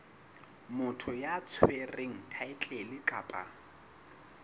motho ya tshwereng thaetlele kapa